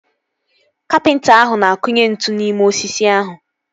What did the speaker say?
Kapịnta ahụ na-akunye ntu n'ime osisi ahụ